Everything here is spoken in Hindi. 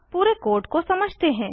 अब पूरे कोड को समझते हैं